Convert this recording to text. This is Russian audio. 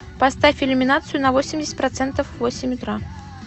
поставь иллюминацию на восемьдесят процентов в восемь утра